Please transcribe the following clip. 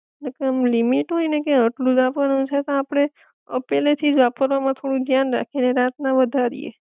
ને એક આમ લિમિટ હોય ને કે આટલું જ વાપરવાનું છે તો આપડે અ પેલે થી જ વાપરવા માં થોડું ધ્યાન રાખી એ ને રાત ના વધારીએ.